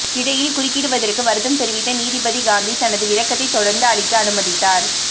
இடையில் குறுக்கிடுவதற்கு வருத்தம் தெரிவித்த நீதிபதி காந்தி தனது விளக்கத்தை தொடர்ந்து அளிக்க அனுமதித்தார்